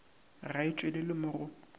ga e tšwelele mo go